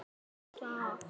Hann var í bláum stakk.